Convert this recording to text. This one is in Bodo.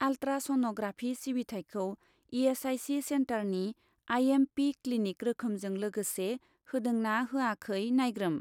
आल्ट्रा सन'ग्राफि सिबिथायखौ इ.एस.आइ.सि. सेन्टारनि आइ.एम.पि. क्लिनिक रोखोमजों लोगोसे होदों ना होयाखै नायग्रोम।